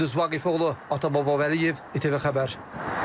Gündüz Vaqifoğlu, Atababa Vəliyev, ATV xəbər.